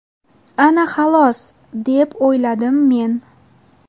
Ana xolos, deb o‘yladim men.